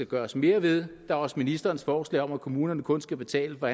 gøres mere ved der er også ministerens forslag om at kommunerne kun skal betale for